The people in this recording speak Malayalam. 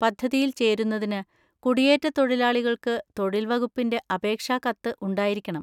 പദ്ധതിയിൽ ചേരുന്നതിന് കുടിയേറ്റത്തൊഴിലാളികൾക്ക് തൊഴിൽ വകുപ്പിന്‍റെ അപേക്ഷാ കത്ത് ഉണ്ടായിരിക്കണം.